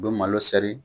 U bɛ malo sɛri